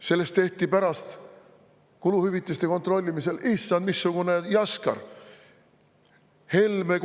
" Sellest tehti pärast kuluhüvitiste kontrollimisel issand missugune jaskar!